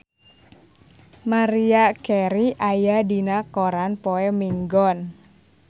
Maria Carey aya dina koran poe Minggon